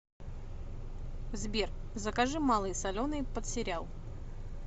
сбер закажи малый соленый под сериал